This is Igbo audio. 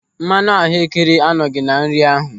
Mmanụ ahuekere anọghị na nri ahụ.